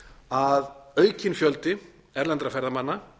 að aukinn fjöldi erlendra ferðamanna